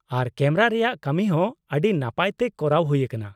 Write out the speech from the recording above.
ᱟᱨ camera ᱨᱮᱭᱟᱜ ᱠᱟᱹᱢᱤ ᱦᱚᱸ ᱟᱹᱰᱤ ᱱᱟᱯᱟᱭ ᱛᱮ ᱠᱚᱨᱟᱣ ᱦᱩᱭ ᱟᱠᱟᱱᱟ ᱾